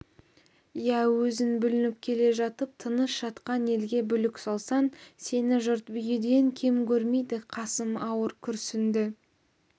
иә өзің бүлініп келе жатып тыныш жатқан елге бүлік салсаң сені жұрт бүйіден кем көрмейді қасым ауыр күрсінді